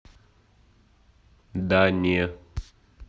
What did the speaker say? да не